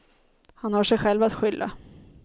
Han har sig själv att skylla.